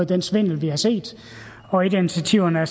den svindel vi har set og et af initiativerne